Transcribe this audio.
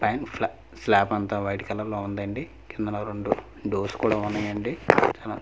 And ఫ్లా స్లాప్ అంతా వైట్ కలర్లో ఉందండి కిందన రెండు డోర్స్ కూడా ఉన్నయండి.